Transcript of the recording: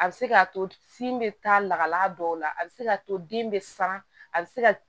A bɛ se k'a to sin bɛ taa lakala dɔw la a bɛ se k'a to den bɛ san a bɛ se